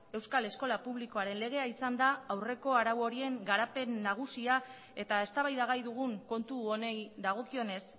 euskal eskola publikoaren legea izan da aurreko arau horien garapen nagusia eta eztabaidagai dugun kontu honi dagokionez